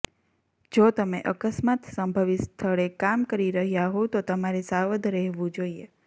જો તમે અકસ્માત સંભવિત સ્થળે કામ કરી રહ્યા હોવ તો તમારે સાવધ રહેવું જોઈએ